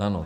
Ano.